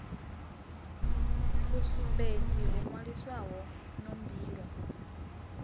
sumbedze ho nwaliswaho no mbilo